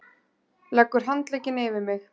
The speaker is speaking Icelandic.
Leggur handlegginn yfir mig.